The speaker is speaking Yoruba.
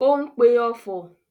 Ó ń pe ọfọ̀?